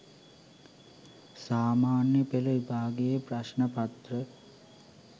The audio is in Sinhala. සාමාන්‍ය පෙළ විභාගයේ ප්‍රශ්න පත්‍ර